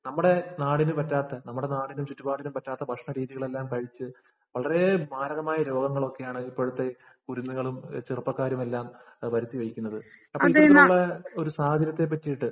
നമ്മുടെ നാടിനു പറ്റാത്ത, നമ്മുടെ നാടിനും, ചുറ്റുപാടിനും പറ്റാത്ത ഭക്ഷണരീതികളെല്ലാം കഴിച്ചു വളരേ മാരകമായ രോഗങ്ങളൊക്കെയാണ് ഇപ്പോഴത്തെ കുരുന്നുകളും, ചെറുപ്പക്കാരുമെല്ലാം വരുത്തി വയ്ക്കുന്നത്. അപ്പൊ ഇത്തരത്തിലുള്ള സാഹചര്യത്തെ പറ്റീട്ട്